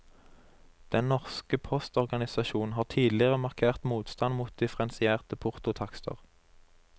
Den norske postorganisasjon har tidligere markert motstand mot differensierte portotakster.